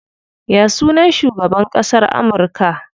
Ya sunan shugaban ƙasan Amurka?